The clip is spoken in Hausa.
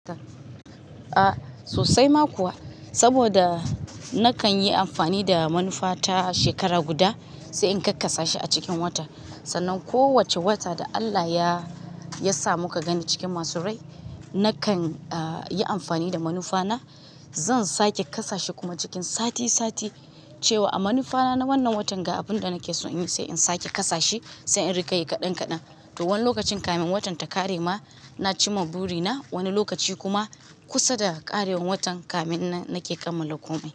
A sosai ma kuwa, saboda nakan yi amfani da manufa ta shekara guda sai in kakkasa shi a cikin wata. Sannan kowacce wata da Allah ya sa muka gani cikin masu rai, nakan yi amfani da manufa na. Zan sake kasa shi kuma cikin sati sati cewa a manufa na wannan watan ga abin da nake son yin sai in sake kasa shi sai in rika yi kaɗan kaɗan. To, wani lokacin kafin watan ta ƙare ma, na ci ma buri na. Wani lokaci kuma kusa da ƙarewan watan kafin nan nake kammala komai.